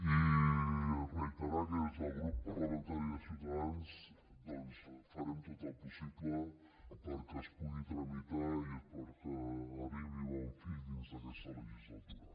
i reiterar que des del grup parlamentari de ciutadans doncs farem tot el possible perquè es pugui tramitar i perquè arribi a bon fi dins d’aquesta legislatura